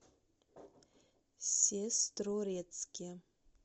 сестрорецке